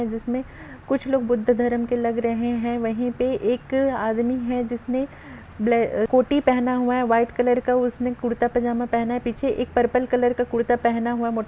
जिसमें कुछ लोग बुद्ध-द धर्म के लग रहे हैं वहीं पर एक आदमी है जिसने अ-कोठी पहना हुआ है वाइट कलर का उसने कुर्ता पजामा पहना है पीछे एक परपल कलर का कुर्ता पहना हुआ है।